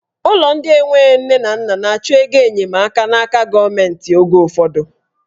Ụlọ ndị enwe nne na nna na-achọ ego enyemaka n'aka gọọmenti oge ụfọdụ.